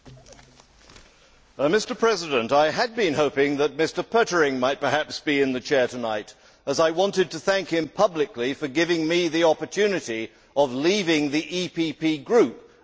Mr President, I had been hoping that Mr Pöttering might perhaps be in the Chair tonight, as I wanted to thank him publicly for giving me the opportunity of leaving the EPP Group a few years ago.